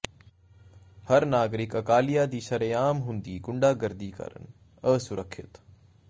ਹਰ ਨਾਗਰਿਕ ਅਕਾਲੀਆ ਦੀ ਸ਼ਰੇਆਮ ਹੁੰਦੀ ਗੁੰਡਾਗਰਦੀ ਕਾਰਨ ਅਸੁਰੱਖਿਅਤ